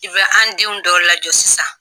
I bɛ an denw dɔw lajɔ sisan